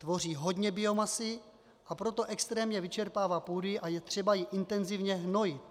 Tvoří hodně biomasy, a proto extrémně vyčerpává půdy a je třeba ji intenzivně hnojit.